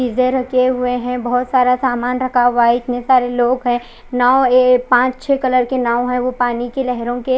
इधर रखे हुए है बहोत सारा सामान रखा हुआ है इतने सारे लोग है नाव ऐ पांच छे कलर के नाव है वो पानी के लहरों के--